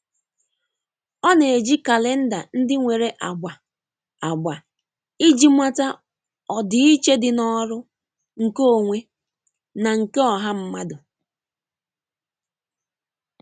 Ọ na-eji kalenda ndị nwere agba agba iji mata ọdịiche dị n'ọrụ, nke onwe, na nke ọha mmadụ.